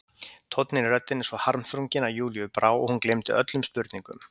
Tónninn í röddinni svo harmþrunginn að Júlíu brá og hún gleymdi öllum spurningum.